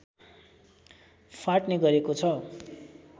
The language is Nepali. फाट्ने गरेको छ